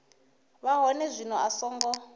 vha hone zwino a songo